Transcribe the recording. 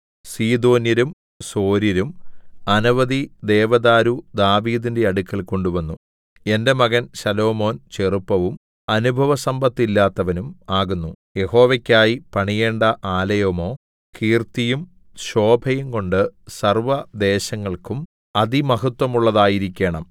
സീദോന്യരും സോര്യരും അനവധി ദേവദാരു ദാവീദിന്റെ അടുക്കൽ കൊണ്ടുവന്നു എന്റെ മകൻ ശലോമോൻ ചെറുപ്പവും അനുഭവസമ്പത്തില്ലാത്തവനും ആകുന്നു യഹോവയ്ക്കായി പണിയേണ്ട ആലയമോ കീർത്തിയും ശോഭയുംകൊണ്ട് സർവ്വദേശങ്ങൾക്കും അതിമഹത്വമുള്ളതായിരിക്കേണം